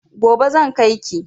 Gobe zan kai ki.